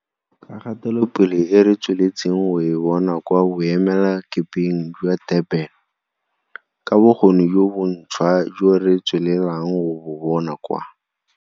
Ka kgatelopele e re tsweletseng go e bona kwa boemelakepeng jwa Durban, ka bokgoni jo bontšhwa jo re tswelelang go bo bona kwa.